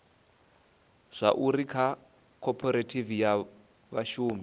zwauri kha khophorethivi ya vhashumi